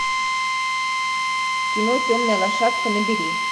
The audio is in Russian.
кино темная лошадка набери